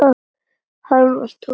Hann var tómur.